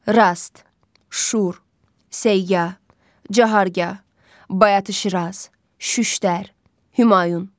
Rast, Şur, Səyya, Cahargah, Bayatı Şiraz, Şüştər, Humayun.